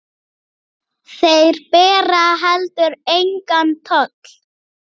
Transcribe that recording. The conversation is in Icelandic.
Þeir bera heldur engan toll.